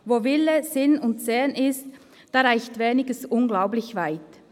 Wo Wille, Sinn und Segen ist, da reicht Weniges unglaublich weit.